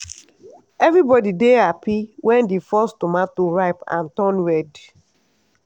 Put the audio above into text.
everybody dey happy when the first tomato ripe and turn red.